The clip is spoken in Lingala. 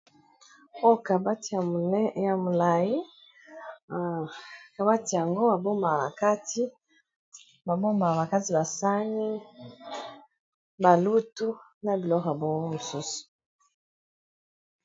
Oyo kabati ya molai kabati yango ba bombaka na kati ba bombaka na bakati ba sani, ba lutu na biloko ya bongo mosusu.